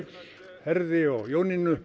Herði og Jónínu